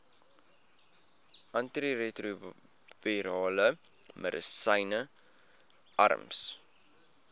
antiretrovirale medisyne arms